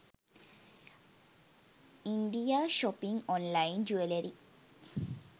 india shopping online jewellery